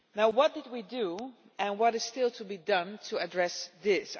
What did we do and what is still to be done to address this?